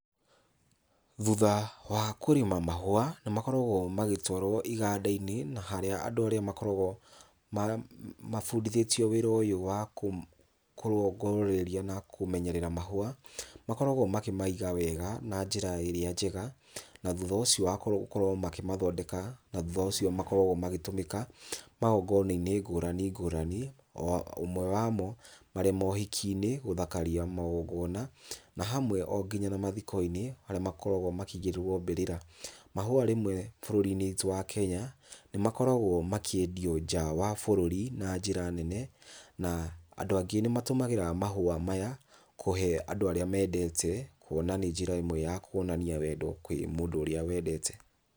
Thutha wa kũrĩma mahũa, nĩ makoragũo magĩtwarwo iganda-inĩ na harĩa andũ arĩa makoragwo mabundithĩtio wĩra ũyũ wa kũrongoreria na kũmenyerera mahũa makoragwo makĩmaiga wega na njĩra ĩrĩa njega. Na thutha ũcio wa gũkorwo makĩmathondeka na thutha ũcio makoragwo magĩtũmĩka magongonainĩ ngũrani ngũrani. O ũmwe wamo marĩ mo ũhiki-inĩ gũthakaria magongona na hamwe o nginya na mathiko-inĩ harĩa makoragwo makĩigĩrĩrwo mbĩrĩra. Mahũa rĩmwe bũrũri-inĩ witũ wa Kenya nĩ makoragwo makĩendio nja wa bũrũri na njĩra nene. Na andũ angĩ nĩ matũmagĩra mahũa maya kũhe andũ arĩa mendete, kuona nĩ njĩra ĩmwe ya kuonania wendo kwĩ mũndũ ũrĩa wendete.